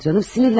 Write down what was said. Əsəbləşmə.